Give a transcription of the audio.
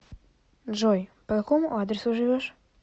джой по какому адресу живешь